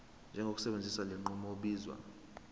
njengosebenzisa lenqubo obizwa